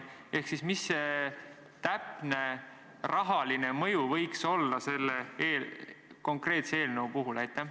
Ehk siis, mis see täpne rahaline mõju võiks olla selle konkreetse eelnõu puhul?